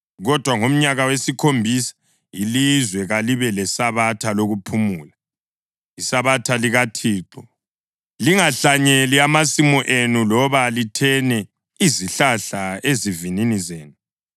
Kodwa ngomnyaka wesikhombisa ilizwe kalibe leSabatha lokuphumula, iSabatha likaThixo. Lingahlanyeli amasimu enu loba lithene izihlahla ezivinini zenu.